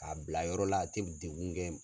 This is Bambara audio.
K'a bila yɔrɔ la a tɛ degun